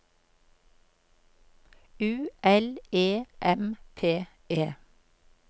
U L E M P E